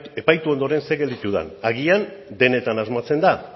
epaitu ondoren zer gelditu den agian denetan asmatzen da